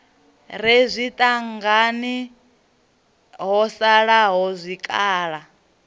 re zwitangini ho salaho zwikhala